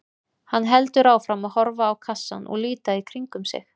Hann heldur áfram að horfa á kassann og líta í kringum sig.